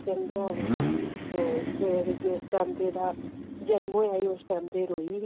ਕਹਿੰਦੇ ਆਹੋ ਜਿਸ time ਇਸ ਦਾ ਜਨਮ ਹੋਇਆ ਸੀ ਰੋਈ ਸੀ